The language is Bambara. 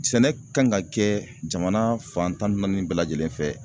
Sɛnɛ kan ka kɛ jamana fan tan ni naani bɛɛ lajɛlen fɛ.